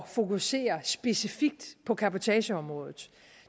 at fokusere specifikt på cabotageområdet